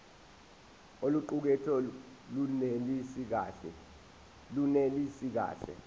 oluqukethwe lunelisi kahle